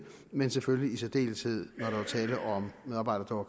men selvfølgelig i særdeleshed var når der var tale om medarbejdere